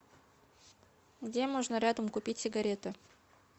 где можно рядом купить сигареты